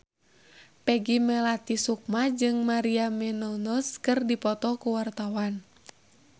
Peggy Melati Sukma jeung Maria Menounos keur dipoto ku wartawan